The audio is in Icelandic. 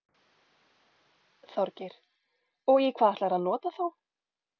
Þorgeir: Og í hvað ætlarðu að nota þá?